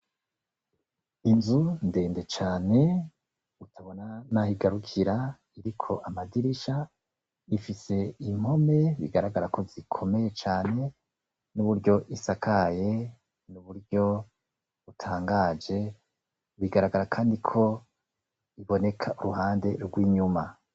Inzu ndende cane tutabona n'aho igarukira, iriko amadirisha ifise impome bigaragara ko zikomeye cane n'uburyo isakaye n'uburyo itangaje. Bigaragara kandi ko iboneka uruhande rw'inyuma.